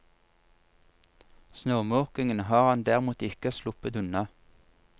Snømåkingen har han derimot ikke sluppet unna.